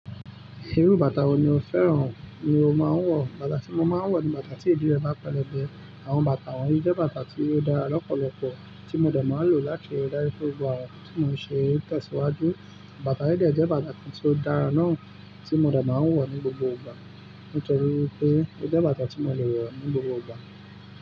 Irú bàtà wo ni o fẹ́ràn ni o máa ń wọ̀? Bàtà tí mo máa ń wọ̀ ni bàtà tí ìdí rẹ̀ bá pẹlẹbẹ. Àwọn bàtà wọ̀nyí jẹ́ bàtà tí ó dára lọ́pọ̀lọpọ̀ tí mo dà máa ń lò láti rí dájú pé gbogbo àwọn ǹkan tí mo ń ṣéè tẹ̀síwájú. Bàtà yìí dè jẹ́ bàtà tí ó dára náà tí mo dè máa ń wọ̀ ní gbogbo ìgbà nítorí pé ó jẹ́ bàtà tí mo lè wọ̀ ní gbogbo ìgbà.